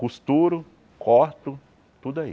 Costuro, corto, tudo aí.